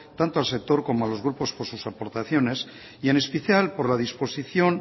tanto al sector como a los grupos por sus aportaciones y en especial por la disposición